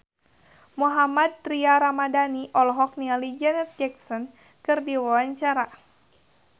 Mohammad Tria Ramadhani olohok ningali Janet Jackson keur diwawancara